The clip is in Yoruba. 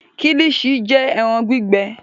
Kílìṣí jẹ́ ẹran gbígbẹ.